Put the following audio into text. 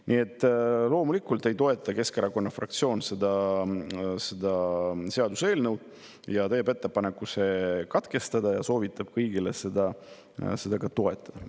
Nii et loomulikult ei toeta Keskerakonna fraktsioon seda seaduseelnõu, teeb ettepaneku katkestada ja soovitab kõigil seda ettepanekut toetada.